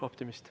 Optimist.